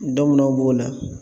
b'o la